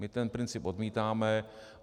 My ten princip odmítáme.